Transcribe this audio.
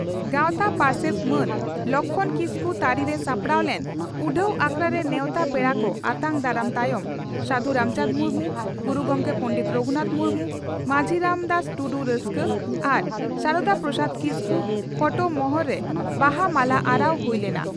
ᱜᱟᱣᱛᱟ ᱯᱟᱨᱥᱮᱛ ᱢᱟᱱ ᱞᱚᱠᱷᱢᱚᱬ ᱠᱤᱥᱠᱩ ᱛᱟᱹᱨᱤ ᱨᱮ ᱥᱟᱯᱲᱟᱣ ᱞᱮᱱ ᱩᱰᱷᱟᱹᱣ ᱟᱠᱷᱲᱟᱨᱮ ᱱᱮᱣᱛᱟ ᱯᱮᱲᱟ ᱠᱚ ᱟᱛᱟᱝ ᱫᱟᱨᱟᱢ ᱛᱟᱭᱚᱢ ᱥᱟᱹᱫᱷᱩ ᱨᱟᱢᱪᱟᱱᱫᱽ ᱢᱩᱨᱢᱩ, ᱜᱩᱨᱩ ᱜᱚᱢᱠᱮ ᱯᱚᱸᱰᱮᱛ ᱨᱟᱹᱜᱷᱩᱱᱟᱛᱷ ᱢᱩᱨᱢᱩ, ᱢᱟᱹᱡᱷᱤ ᱨᱟᱢ ᱫᱟᱥ ᱴᱩᱰᱩ 'ᱨᱟᱥᱠᱟ' ᱟᱨ ᱥᱟᱨᱚᱫᱟ ᱯᱨᱚᱥᱟᱫᱽ ᱠᱤᱥᱠᱩ ᱯᱷᱚᱴᱚ ᱢᱚᱦᱚᱨ ᱨᱮ ᱵᱟᱦᱟ ᱢᱟᱞᱟ ᱟᱨᱟᱣ ᱦᱩᱭ ᱞᱮᱱᱟ ᱾